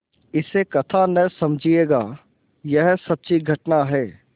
इसे कथा न समझिएगा यह सच्ची घटना है